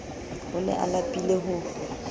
o ne a lapile ho